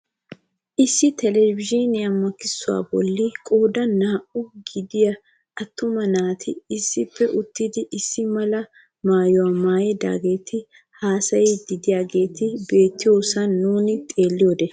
Issi telebizhiniyaa maakkisuwaa bolli qoodan naa"aa gidiyaa attuma naati issippe uttidi issi mala maayuwaa maayidaageti hasayiidi de'iyaageti beettoosona nuuni xeelliyode.